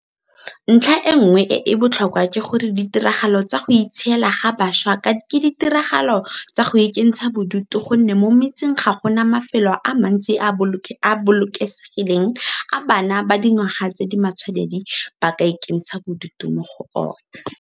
Ntlha e nngwe e e botlhokwa ke gore ditiragalo tsa go itshiela ga bašwa ke ditiragalo tsa go ikentsha bodutu go nne mo metseng ga go na mafelo a mantsi a a bolokesegileng a bana ba dingwaga tse di matshwanedi ba ka ikentshang bodutu mo go ona.